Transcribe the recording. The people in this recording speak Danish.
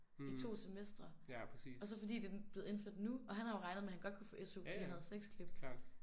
I 2 semestre og så fordi den blevet indført nu og han har jo regnet med han godt kunne få SU fordi han havde 6 klip